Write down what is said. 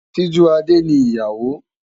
Sijúadé ni ìyàwó.